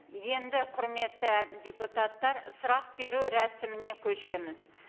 енді құрметті депутаттар сұрақ беру рәсіміне көшеміз